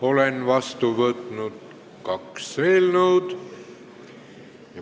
Olen vastu võtnud kaks eelnõu.